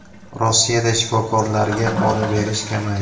Rossiyada shifokorlarga pora berish kamaydi.